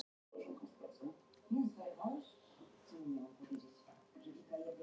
Eitt sinn reyndi hann, ásamt Hallgrími bróður sínum, að svíkja peninga út úr tryggingafyrirtæki.